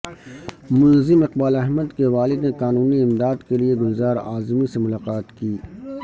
ملزم اقبال احمد کے والد نے قانونی امداد کے لیئے گلزار اعظمی سے ملاقات کی